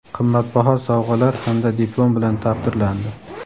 qimmatbaho sovg‘alar hamda diplom bilan taqdirlandi.